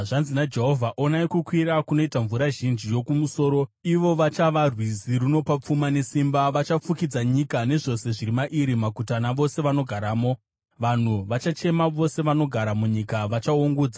Zvanzi naJehovha: “Onai kukwira kunoita mvura zhinji yokumusoro; ivo vachava rwizi runofashukira nesimba. Vachafukidza nyika nezvose zviri mairi, maguta navose vanogaramo. Vanhu vachachema; vose vanogara munyika vachaungudza